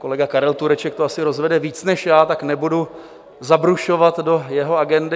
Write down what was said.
Kolega Karel Tureček to asi rozvede víc než já, tak nebudu zabrušovat do jeho agendy.